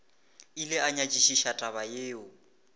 ile a nyakišiša taba yeo